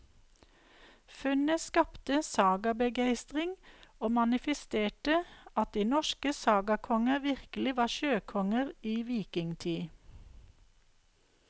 Funnet skapte sagabegeistring og manifesterte at de norske sagakonger virkelig var sjøkonger i vikingtid.